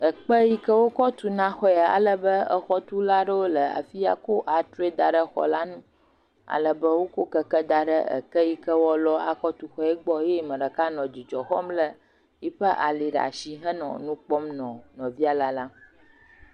Ekpe yike wokɔ tu na xɔe alebe xɔtula aɖewo le afi ya kɔ antsroe daɖe xɔ la nu alebe wokɔ keke daɖe eke yike woalɔ akɔ tuxɔe la gbɔ eye ame ɖeka nɔ dzudzɔ xɔm le eƒe ali ɖe asi henɔ nu kpɔm nɔ nɔvia lalam